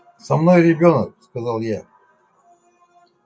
со мной ребёнок сказал я